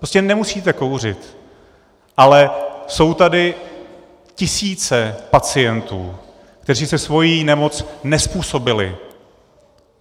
Prostě nemusíte kouřit, ale jsou tady tisíce pacientů, kteří si svoji nemoc nezpůsobili.